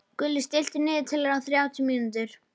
Gulli, stilltu niðurteljara á þrjátíu mínútur.